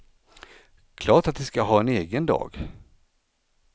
Klart att de ska ha en egen dag.